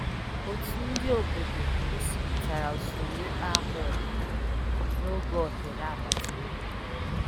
Otu ndị obodo gosipụtara usoro ịkpa akwa ọdịnala n'oge oghere agbataobi